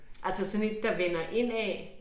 Altså sådan et der vender indad?